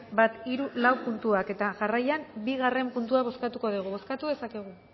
bat hiru lau puntuak eta jarraian bigarren puntua bozkatuko dugu bozkatu dezakegu